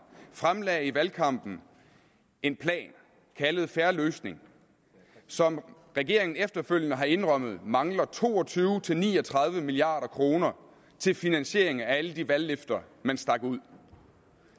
fremlagde i valgkampen en plan kaldet en fair løsning som regeringen efterfølgende har indrømmet mangler to og tyve til ni og tredive milliard kroner til finansiering af alle de valgløfter man stak ud